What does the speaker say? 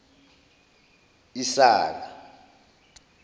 isaka